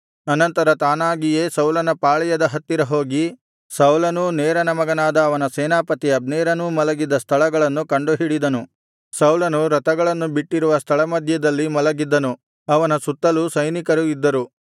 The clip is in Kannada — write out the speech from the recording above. ಅನಂತರ ತಾನಾಗಿಯೇ ಸೌಲನ ಪಾಳೆಯದ ಹತ್ತಿರ ಹೋಗಿ ಸೌಲನೂ ನೇರನ ಮಗನಾದ ಅವನ ಸೇನಾಪತಿ ಅಬ್ನೇರನೂ ಮಲಗಿದ್ದ ಸ್ಥಳಗಳನ್ನು ಕಂಡುಹಿಡಿದನು ಸೌಲನು ರಥಗಳನ್ನು ಬಿಟ್ಟಿರುವ ಸ್ಥಳಮಧ್ಯದಲ್ಲಿ ಮಲಗಿದ್ದನು ಅವನ ಸುತ್ತಲೂ ಸೈನಿಕರು ಇದ್ದರು